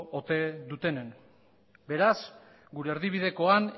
dutenen beraz gure erdibidekoan